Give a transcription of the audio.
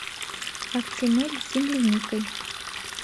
актимель с земляникой